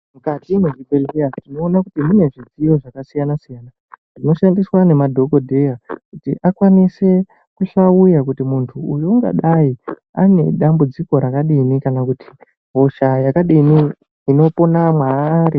Mukati mwezvibhedhleya tinona kuti mune zvidziyo zvakasiyana-siyana zvinoshandiswa nemadhogodheya. Kuti akwanise kuhlauya kuti muntu ungadai ane dambudziko rakadini kana kuti hosha yakadini inopona mwaari.